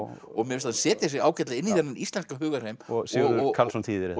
og mér finnst hann setja sig ágætlega inn í þennan íslenska hugarheim og Sigurður Karlsson þýðir og